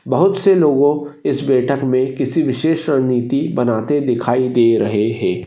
बहुत से लोगों इस बैठक मे किसी विशेष रणनीती बनाते दिखाई दे रहे है।